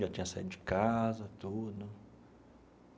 Já tinha saído de casa, tudo.